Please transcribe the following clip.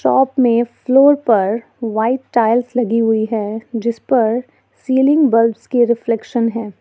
चापने floor पर white tiles लगी हुई है जिस पर सीलिंग बल्ब्स के रिफ्लेक्शन है।